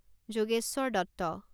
Jogeshwar Dutta